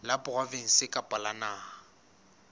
la provinse kapa la naha